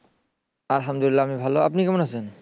আলহামদুলিল্লাহ আমি ভাল আপনি কেমন আছেন?